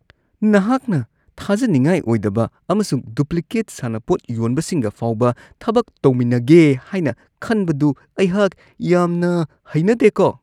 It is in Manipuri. ꯅꯍꯥꯛꯅ ꯊꯥꯖꯅꯤꯡꯉꯥꯏ ꯑꯣꯏꯗꯕ ꯑꯃꯁꯨꯡ ꯗꯨꯄ꯭ꯂꯤꯀꯦꯠ ꯁꯥꯟꯅꯄꯣꯠ ꯌꯣꯟꯕꯁꯤꯡꯒ ꯐꯥꯎꯕ ꯊꯕꯛ ꯇꯧꯃꯤꯟꯅꯒꯦ ꯍꯥꯏꯅ ꯈꯟꯕꯗꯨ ꯑꯩꯍꯥꯛ ꯌꯥꯝꯅ ꯍꯩꯅꯗꯦꯀꯣ ꯫